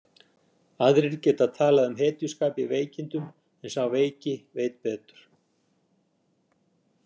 Aðrir geta talað um hetjuskap í veikindum en sá veiki veit betur.